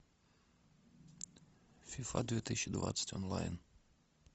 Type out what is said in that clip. фифа две тысячи двадцать онлайн